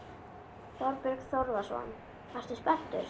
Þorbjörn Þórðarson: Ertu spenntur?